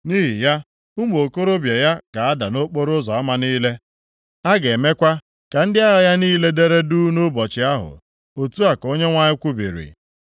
Nʼihi ya, ụmụ okorobịa ya ga-ada nʼokporoụzọ ama niile. A ga-emekwa ka ndị agha ya niile dere duu nʼụbọchị ahụ.” Otu a ka Onyenwe anyị kwubiri.